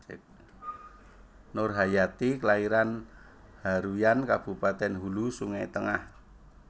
Nurhayati klairan Haruyan Kabupatèn Hulu Sungai Tengah